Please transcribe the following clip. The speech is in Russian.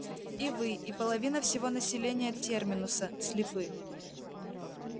и вы и половина всего населения терминуса слепы